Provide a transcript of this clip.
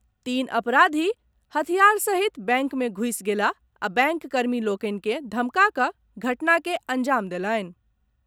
तीन अपराधी हथियार सहित बैंक मे घुसि गेलाह आ बैंक कर्मी लोकनि के धमका कऽ घटना के अंजाम देलनि।